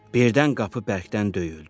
Birdən qapı bərkdən döyüldü.